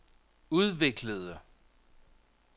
udviklede